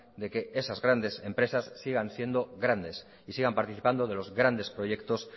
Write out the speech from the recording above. de que esas grandes empresas sigan siendo grandes y sigan participando de los grandes proyectos